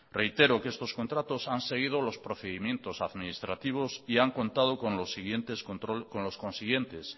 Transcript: reitero que estos contratos han seguido los procedimientos administrativos y han contado con los consiguientes